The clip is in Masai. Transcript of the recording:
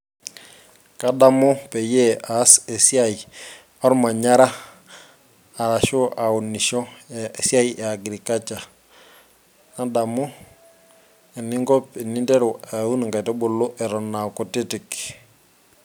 Kadamu peyie aas esiai ormanyara orashu aunisho eeh esiai eeh agriculture nadamu eningo teninteru aun inkaitubulu eton aa kutitik.